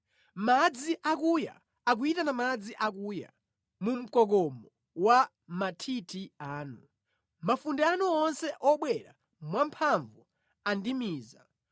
Madzi akuya akuyitana madzi akuya mu mkokomo wa mathithi anu; mafunde anu onse obwera mwamphamvu andimiza.